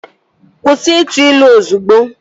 Kwụsị ịtụ ilu ozugbo!